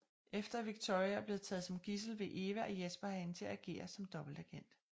Efter at Victoria er blevet taget som gidsel vil Eva og Jesper have hende til at agere som en dobbeltagent